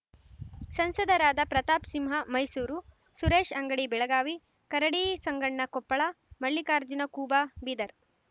ಸಂಸದರಾದ ಪ್ರತಾಪ್ ಸಿಂಹ ಮೈಸೂರು ಸುರೇಶ್ ಅಂಗಡಿ ಬೆಳಗಾವಿ ಕರಡಿ ಸಂಗಣ್ಣ ಕೊಪ್ಪಳ ಮಲ್ಲಿಕಾರ್ಜುನ ಖೂಬ ಬೀದರ್